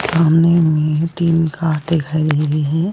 सामने में तीन कार दिख रही है।